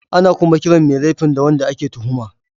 Ana kuma kiran mai laifin da wanda ake tuhuma.